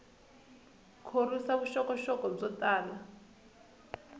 khorwisa vuxokoxoko byo tala